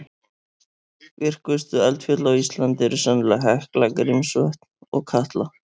Virkustu eldfjöll á Íslandi eru sennilega Hekla, Grímsvötn og Katla.